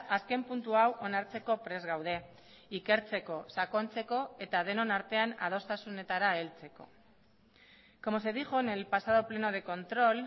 azken puntu hau onartzeko prest gaude ikertzeko sakontzeko eta denon artean adostasunetara heltzeko como se dijo en el pasado pleno de control